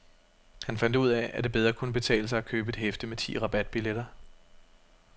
Han fandt ud af, at det bedre kunne betale sig at købe et hæfte med ti rabatbilletter.